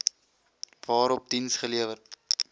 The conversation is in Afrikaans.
waarop diens gelewer